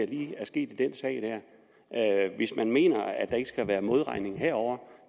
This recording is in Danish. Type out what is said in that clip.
lige er sket i den sag hvis man mener at der ikke skal være modregning herovre